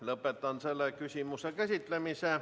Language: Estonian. Lõpetan selle küsimuse käsitlemise.